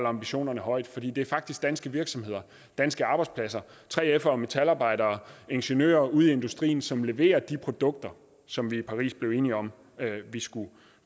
ambitionerne højt for det er faktisk danske virksomheder danske arbejdspladser 3fere og metalarbejdere og ingeniører ude i industrien som leverer de produkter som vi i paris blev enige om vi skulle